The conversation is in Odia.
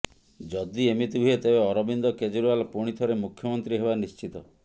ଯଦି ଏମିତି ହୁଏ ତେବେ ଅରବିନ୍ଦ କେଜ୍ରିୱାଲ ପୁଣି ଥରେ ମୁଖ୍ୟମନ୍ତ୍ରୀ ହେବା ନିଶ୍ଚିତ